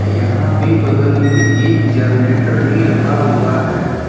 यहां पे बगल में एक जरनेटर भी रखा हुआ है।